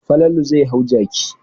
Falalu zai hau jaki.